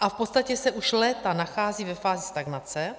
a v podstatě se už léta nachází ve fázi stagnace.